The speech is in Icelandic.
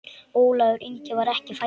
Ólafur Ingi var ekki fæddur.